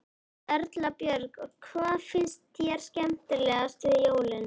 Erla Björg: Og hvað finnst þér skemmtilegast við jólin?